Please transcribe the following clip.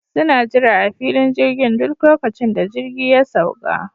Suna jira a filin jirgin duk lokacin da jirgi ya sauƙa